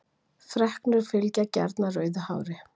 Freknur fylgja gjarnan rauðu hári.